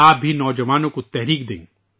آپ بھی نوجوانوں کو ترغیب دیں